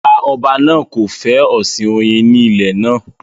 Rárá, ọba náà kò fẹ́ ọ̀sìn oyin ní ilẹ̀ náà